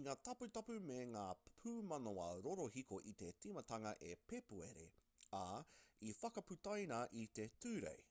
i ngā taputapu me ngā pūmanawa rorohiko i te timatanga o pēpuere ā i whakaputaina i te tūrei